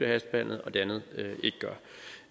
hastebehandlet og det andet